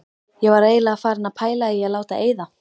Ég var eiginlega farin að pæla í að láta eyða.